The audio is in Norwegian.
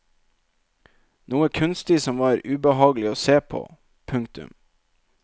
Noe kunstig som var ubehagelig å se på. punktum